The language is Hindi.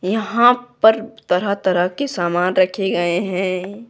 यहां पर तरह-तरह के सामान रखे गए हैं।